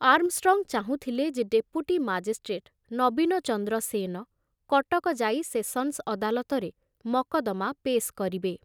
Armstrong ଚାହୁଁଥିଲେ ଯେ deputy magistrate Nabinchandra Sen Cuttack ଯାଇ ସେସନ୍ସ ଅଦାଲତରେ ମକଦ୍ଦମା ପେଶ୍ କରିବେ।